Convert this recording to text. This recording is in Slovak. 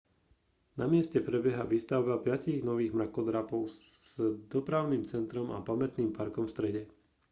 na mieste prebieha výstavba piatich nových mrakodrapov s dopravným centrom a pamätným parkom v strede